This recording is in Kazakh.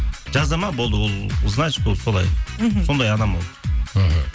жазады ма болды ол значит ол солай мхм сондай адам ол мхм